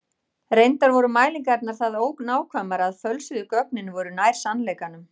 Reyndar voru mælingarnar það ónákvæmar að fölsuðu gögnin voru nær sannleikanum.